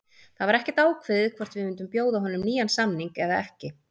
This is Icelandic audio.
Það var ekkert ákveðið hvort við myndum bjóða honum nýjan samning eða ekki.